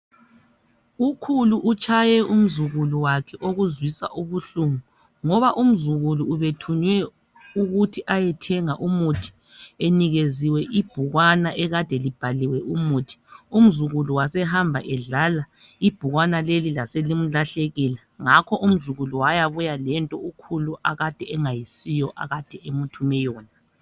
Ukhulu utshaye umzukulu wakhe okuzwisa ubuhlungu ngoba umzukulu ubethunywe ukuthi ayethenga umuthi enikeziwe ibhukwana ekade libhaliwe umuthi. Umzukulu wasehamba edlala ibhukwana leli laselimlahlekela . Ngakho umzukulu wayabuya lento ukhulu akade engayisiyo akade emuthume yona